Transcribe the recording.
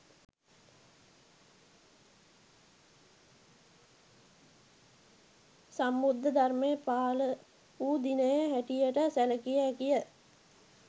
සම්බුද්ධ ධර්මය පහළ වූ දිනය හැටියට සැලකිය හැකිය